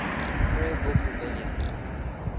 prayer book rebellion